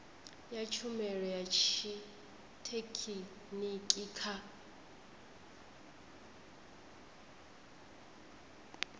ya tshumelo ya tshithekhiniki kha